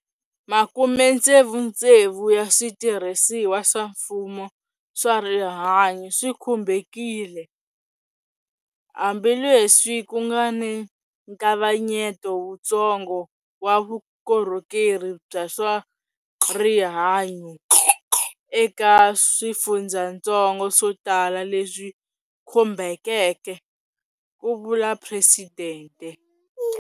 Makumetsevutsevu ya switirhisiwa swa mfumo swa rihanyu swi khumbekile, hambileswi ku nga ni nkavanyeto wutsongo wa vukorhokeri bya swa rihanyu eka swifundzatsongo swo tala leswi khumbekeke, ku vula Presidente.